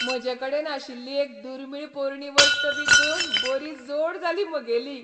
म्हजेकडेन आशिल्ली एक दुर्मीळ पोरणी वस्त विकून बरी जोड जाली म्हगेली.